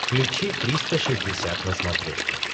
включи триста шестьдесят на смотрешке